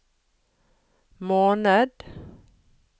måned